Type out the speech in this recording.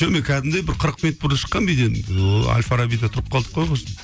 жоқ мен кәдімгідей бір қырық минут бұрын шыққанмын үйден ооо әл фарабиде тұрып қалдық қой құрысын